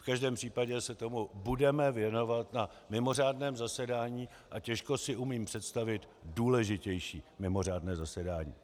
V každém případě se tomu budeme věnovat na mimořádném zasedání a těžko si umím představit důležitější mimořádné zasedání.